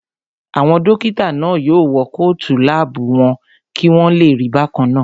Àwọn dókítà náà yóò wọ kóòtù láàbù wọn kí wọ́n lè rí bákannáà